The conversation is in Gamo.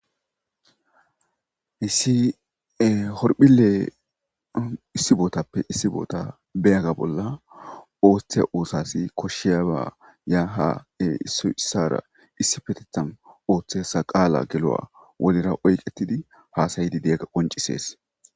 Issi horphilley issi botappe issi bota biyaga bola othiya osas koshiaba issoy isara yaha issippe otheysa qala geluwan wolira oyqettidi hasayiga qoncisses.